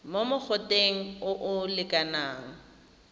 mo mogoteng o o lekanang